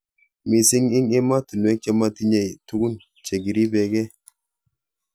Mising ing emotunwek che matinyei tukun che kiripe kei.